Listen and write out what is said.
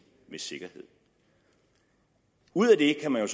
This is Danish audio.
med sikkerhed ud af det kan man